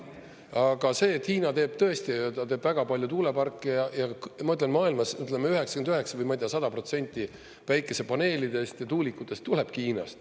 Aga see, et Hiina teeb tõesti, ta teeb väga palju tuuleparke ja ma ütlen, et maailmas 99 või ma ei tea, 100% päikesepaneelidest ja tuulikutest tulebki Hiinast.